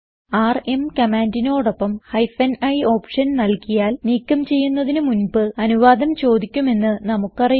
RM കമാൻഡിനോടൊപ്പം hyphen i option നൽകിയാൽ നീക്കം ചെയ്യുന്നതിന് മുൻപ് അനുവാദം ചോദിക്കുമെന്ന് നമുക്ക് അറിയാം